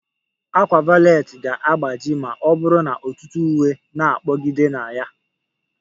A ákwà valet ga-agbaji ma ọ bụrụ na ọtụtụ uwe na-kpọgidere na ya